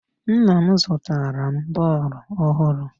Nna m zụtara m bọọlụ ọhụrụ